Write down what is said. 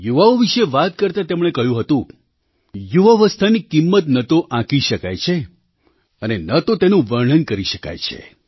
યુવાઓ વિશે વાત કરતાં તેમણે કહ્યું હતું યુવાવસ્થાની કિંમત ન તો આંકી શકાય છે અને ન તો તેનું વર્ણન કરી શકાય છે